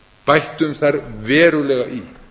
bættum þar verulega í